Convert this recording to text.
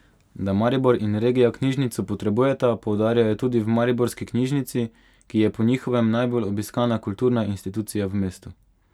Da Maribor in regija knjižnico potrebujeta, poudarjajo tudi v Mariborski knjižnici, ki je po njihovem najbolj obiskana kulturna institucija v mestu.